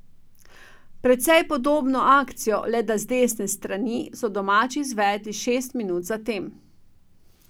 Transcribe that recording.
Precej podobno akcijo, le da z desne stran, so domači izvedli šest minut zatem.